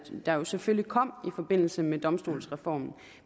der selvfølgelig kom i forbindelse med domstolsreformen